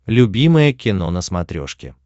любимое кино на смотрешке